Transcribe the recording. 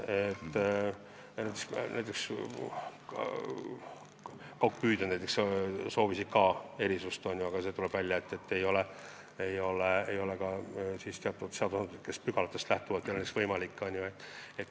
Näiteks kaugpüüdjad soovisid ka erisust, aga tuli välja, et seadusepügalatest lähtuvalt pole see võimalik.